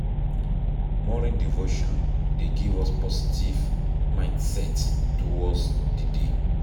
Morning devotion dey give us positive mindset towards di day